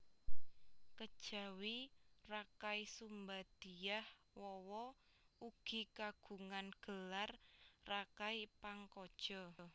Kejawi Rakai Sumba Dyah Wawa ugi kagungan gelar Rakai Pangkaja